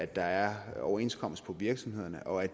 der er overenskomster på virksomhederne og at